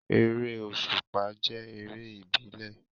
Eré òsùpá jẹ́ eré ìbílẹ̀